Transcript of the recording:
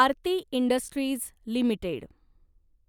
Aarti industries limited